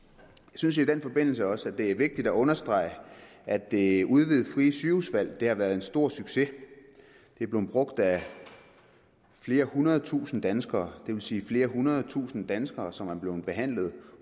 synes i den forbindelse også det er vigtigt at understrege at det udvidede frie sygehusvalg har været en stor succes det er blevet brugt af flere hundrede tusinde danskere det vil sige flere hundrede tusinde danskere som er blevet behandlet